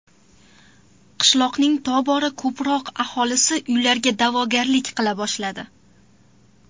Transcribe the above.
Qishloqning tobora ko‘proq aholisi uylarga da’vogarlik qila boshladi.